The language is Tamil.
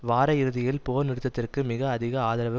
வார இறுதியில் போர்நிறுத்தத்திற்கு மிக அதிக ஆதரவு